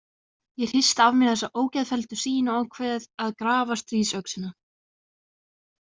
Ég hristi af mér þessa ógeðfelldu sýn og ákveð að grafa stríðsöxina.